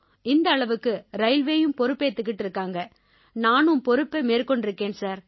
இந்த அளவுக்கு ரயில்வேயும் பொறுப்பேத்துக்கிட்டு இருக்காங்க நானும் பொறுப்பை மேற்கொண்டிருக்கேன் சார்